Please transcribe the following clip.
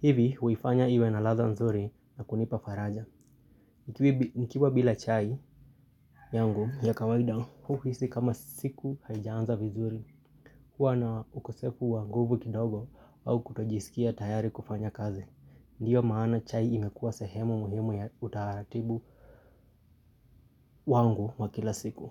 Hivi huifanya iwe na ladha nzuri na kunipa faraja. Nikiwa bila chai yangu ya kawaida huhisi kama siku haijaanza vizuri. Huwa na ukosefu wa nguvu kidogo au kutojisikia tayari kufanya kazi. Ndiyo maana chai imekuwa sehemu muhimu ya utaratibu wangu wa kila siku.